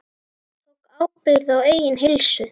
Tók ábyrgð á eigin heilsu.